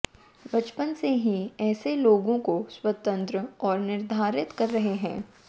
बचपन से ही ऐसे लोगों को स्वतंत्र और निर्धारित कर रहे हैं